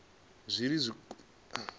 zwi re khombo kha vhupo